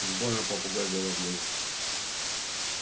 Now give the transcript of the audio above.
уж больно попугай говорливый